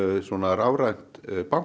rafrænt